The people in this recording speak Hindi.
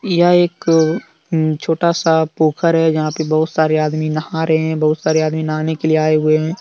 यह एक अम छोटा सा पोखर है यहां पे बहुत सारे आदमी नहा रहे हैं बहुत सारे आदमी नहाने के लिए आए हुए हैं।